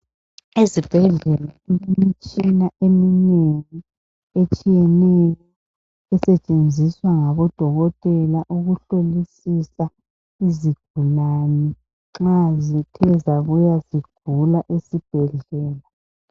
Ezibhedlela imitshina eminengi etshiyeneyo esetshenziswa ngabodokotela ukuhlolisisa izigulane nxa zithe uzabuya zigula esibhedlela.